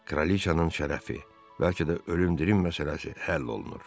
Kraliçanın şərəfi, bəlkə də ölüm dirim məsələsi həll olunur.